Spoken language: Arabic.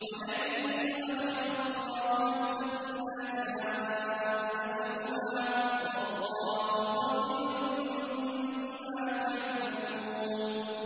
وَلَن يُؤَخِّرَ اللَّهُ نَفْسًا إِذَا جَاءَ أَجَلُهَا ۚ وَاللَّهُ خَبِيرٌ بِمَا تَعْمَلُونَ